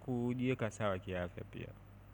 kujieka sawa kiafya pia.